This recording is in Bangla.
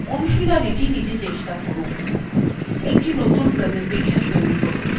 অনুশীলনীtry নিজে চেষ্টা করুন একটি নতুন প্রেসেন্টেশন try করুন